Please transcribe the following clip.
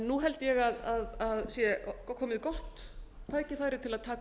nú held ég að sé komið gott tækifæri til að taka